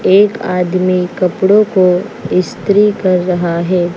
एक आदमी कपड़ों को इस्त्री कर रहा है।